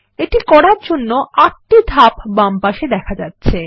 এটি করার জন্য ৮ টি ধাপ বামপাশে দেখা যাচ্ছে